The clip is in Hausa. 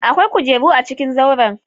Akwai kujeru a cikin zauren.